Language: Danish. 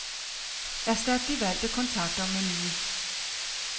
Erstat de valgte kontakter med nye.